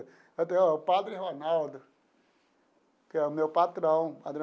O Padre Ronaldo que é o meu patrão.